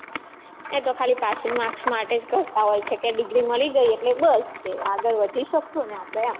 એ તો ખાલી passing marks માટે જ કરતા હોય છે કે degree મળી ગઈ એટલે બસ ને કે આગળ વધી શકશું આપણે એમ